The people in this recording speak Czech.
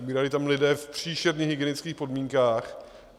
Umírali tam lidé v příšerných hygienických podmínkách.